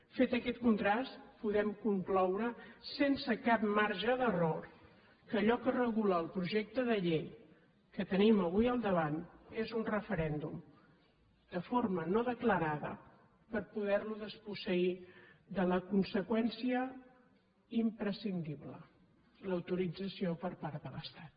fet aquest contrast podem concloure sense cap marge d’error que allò que regula el projecte de llei que tenim avui al davant és un referèndum de forma no declarada per poder lo desposseir de la conseqüència imprescindible l’autorització per part de l’estat